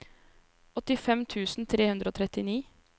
åttifem tusen tre hundre og trettini